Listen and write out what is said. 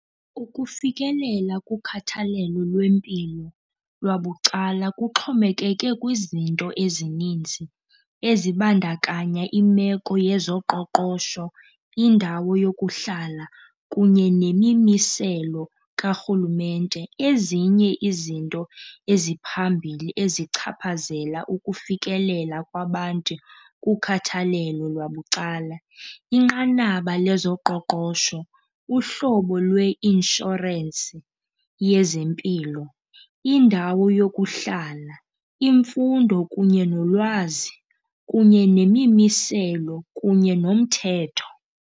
Ukufikelela kukhathalelo lwempilo lwabucala kuxhomekeke kwizinto ezininzi ezibandakanya imeko yezoqoqosho, indawo yokuhlala kunye nemimiselo karhulumente. Ezinye izinto eziphambili ezichaphazela ukufikelela kwabantu kukhathalelo lwabucala, inqanaba lwezoqoqosho, uhlobo lweinshorensi yezempilo, indawo yokuhlala, imfundo kunye nolwazi kunye nemimiselo kunye nomthetho.